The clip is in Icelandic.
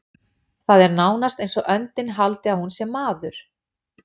Það er nánast eins og öndin haldi að hún sé maður.